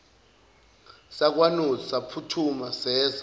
sakwanozi saphuthuma seza